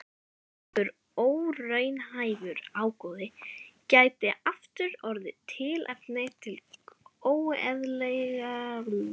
Slíkur óraunhæfur ágóði gæti aftur orðið tilefni til óeðlilegrar arðsúthlutunar.